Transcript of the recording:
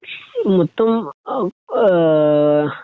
ഇപ്പം മ്മ് ഏഹ്ഹ്